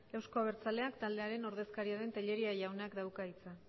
euzko abertzaleak taldearen ordezkaria den tellería jaunak dauka hitza